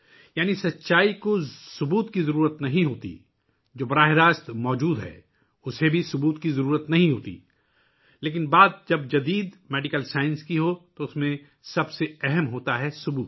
یعنی سچ کو ثبوت کی ضرورت نہیں ہوتی، جو سیدھی ہو ، اسے بھی ثبوت کی ضرورت نہیں ہوتی لیکن جب جدید میڈیکل سائنس کی بات آتی ہے تو سب سے اہم چیز ہے ثبوت